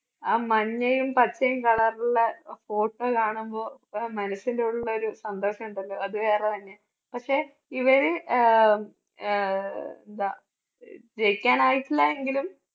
ആ മഞ്ഞയും പച്ചയും colour ള്ള photo കാണുമ്പോ മനസ്സിൻറെ ഉള്ളിൽ ഒരു സന്തോഷണ്ടല്ലോ അത് വേറെ തന്നെയാ. പക്ഷേ ഇവര് ആഹ് അഹ് എന്താ ജയിക്കാൻ ആയിട്ടില്ല എങ്കിലും